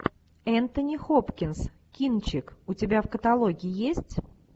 энтони хопкинс кинчик у тебя в каталоге есть